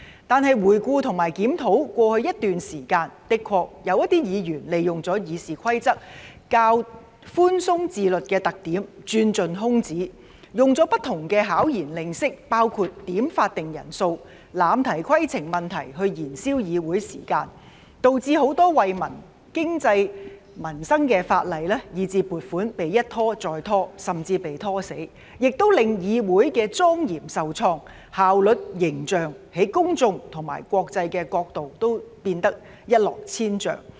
但是，回顧和檢討過去一段時間，的確有議員利用了《議事規則》較寬鬆自律的特點，鑽盡空子，使用不同的巧言令色——包括點算法定人數、濫提規程問題——來燃燒議會時間，導致很多惠民、經濟、民生的法例以至撥款被一拖再拖，甚至被"拖死"，也令議會的莊嚴受創，效率、形象從公眾和國際的角度都變得一落千丈。